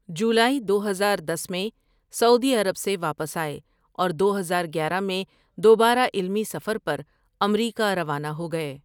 جولائی دو ہزار دس میں سعودی عرب سے واپس آئے اور دو ہزار گیارہ میں دوبارہ علمی سفر پرامریکہ روانہ ہو گئے ۔